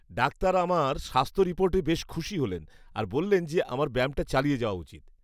Doctor আমার স্বাস্থ্য রিপোর্টে বেশ খুশি হলেন আর বললেন যে আমার ব্যায়ামটা চালিয়ে যাওয়া উচিত।